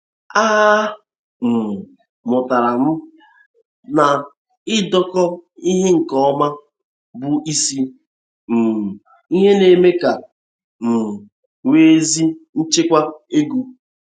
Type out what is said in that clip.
A um mụtara m na idekọ ihe nke ọma bụ isi um ihe na-eme ka um e nwee ezi nchịkwa ego.